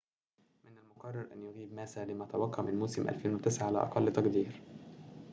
من المُقرّر أن يغيب ماسا لما تبقى من موسم 2009 على أقل تقدير